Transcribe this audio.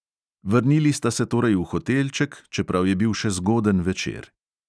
Vrnili sta se torej v hotelček, čeprav je bil še zgoden večer.